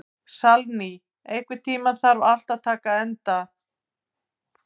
Salný, einhvern tímann þarf allt að taka enda.